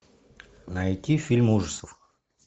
найти фильм ужасов